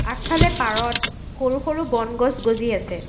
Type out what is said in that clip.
আগফালে পাৰত সৰু-সৰু বন গছ গজি আছে।